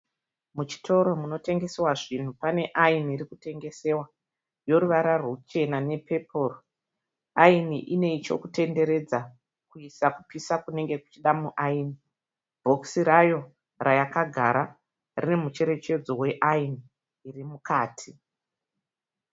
Muchitoro munotengesewa zvinhu pane ayini iri kutengesewa yeruvara ruchena nepepuru. Ayini ine chokutenderedza kuisa kupisa kunenge kuchida muayini. Bhokisi rayo rayakagara rine mucherechedzo weayini iri mukati.